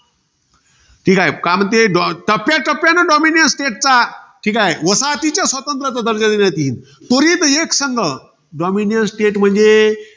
ठीके. काय म्हणते. टप्याटप्याने dominace state चा, वसाहतीच्या स्वातंत्र्याचा दर्जा देतील. त्वरित एकसंघ. Dominiance state म्हणजे?